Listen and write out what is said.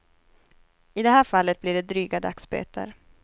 I det här fallet blir det dryga dagsböter.